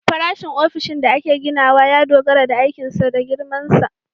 Farashin ofishin da ake ginawa ya dogara da aikinsa da girmansa